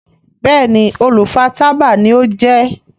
Béèni olú fà tábà ní o jé.